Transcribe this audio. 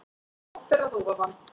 Oft ber að ofan